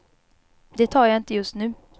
Det tar jag inte just nu.